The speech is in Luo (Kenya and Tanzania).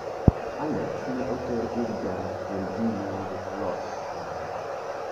Alex ne oter ir ja terji nyango molony Canada.